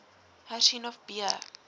hersien of b